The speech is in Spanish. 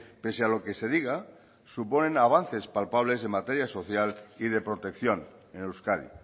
pese a lo que se diga suponen avances palpables en materia social y de protección en euskadi